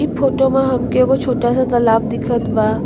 इ फोटो मा हमके एगो छोटा सा तालाब दिखत बा।